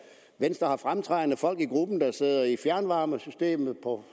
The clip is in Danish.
venstre har fremtrædende folk i gruppen der sidder med fjernvarmesystemet på